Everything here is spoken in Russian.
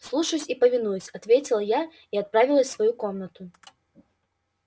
слушаюсь и повинуюсь ответила я и отправилась в свою комнату